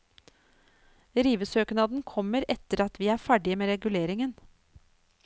Rivesøknaden kommer etter at vi er ferdige med reguleringen.